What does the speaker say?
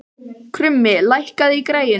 Krummi, lækkaðu í græjunum.